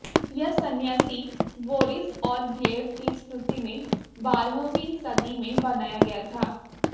यह संन्यासी बोरिस और ग्लेब की स्मृति में बारहवीं सदी में बनाया गया था